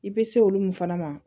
I bɛ se olu min fana ma